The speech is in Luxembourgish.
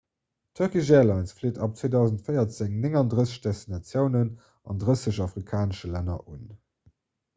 d'turkish airlines flitt ab 2014 39 destinatiounen an 30 afrikanesche länner un